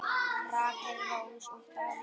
Rakel Rós og Davíð Már.